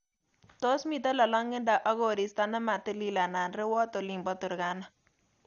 Tos miten lolongindo ak koristo nematilil anan rewot olin bo Turkana Rani